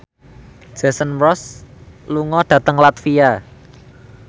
Jason Mraz lunga dhateng latvia